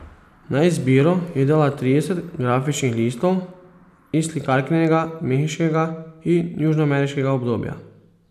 Na izbiro je dala trideset grafičnih listov iz slikarkinega mehiškega in južnoameriškega obdobja.